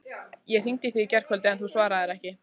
Ég hringdi í þig í gærkvöldi, en þú svaraðir ekki.